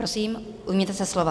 Prosím, ujměte se slova.